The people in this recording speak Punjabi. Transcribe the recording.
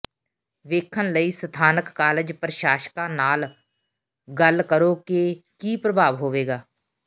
ਵੇਖਣ ਲਈ ਸਥਾਨਕ ਕਾਲਜ ਪ੍ਰਸ਼ਾਸਕਾਂ ਨਾਲ ਗੱਲ ਕਰੋ ਕਿ ਕੀ ਪ੍ਰਭਾਵ ਹੋਵੇਗਾ